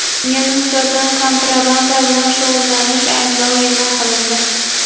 Unga nisbatan kontrabanda bilan shug‘ullanish ayblovi e’lon qilindi.